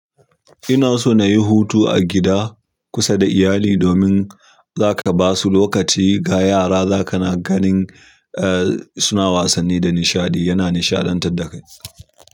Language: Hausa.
Ina so na yi hutu a gida kusa da iyali domin za ka ba su lokaci ga yara za ka na ganin suna wasanni da nishaɗi yana nishaɗantar da kai.